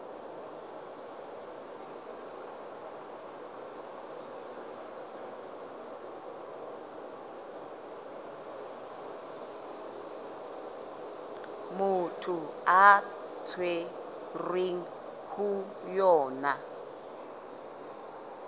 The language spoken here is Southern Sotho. motho a tshwerweng ho yona